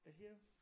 Hvad siger du?